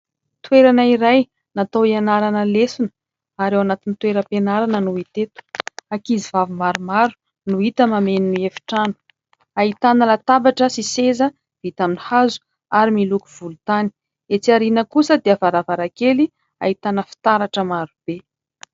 Toerana iray natao hianarana lesona ary ao anatin'ny toeram-pianarana no hita eto. Ankizy vavy maromaro no hita mameno ny efitrano, ahitana latabatra sy seza vita amin'ny hazo ary miloko volontany. Etsy aoriana kosa dia varavarankely ahitana fitaratra maro be.